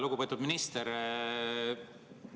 Lugupeetud minister!